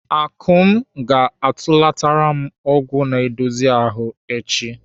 Akụm ga-atụlatara m ọgwụ na-edozi ahụ echi.